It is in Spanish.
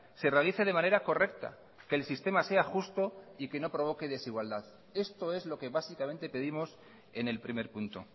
se realice de manera correcta que el sistema sea justo y que no provoque desigualdad esto es lo que básicamente pedimos en el primer punto